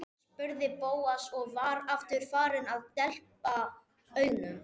spurði Bóas og var aftur farinn að depla augunum.